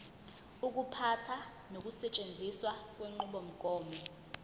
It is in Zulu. ukuphatha nokusetshenziswa kwenqubomgomo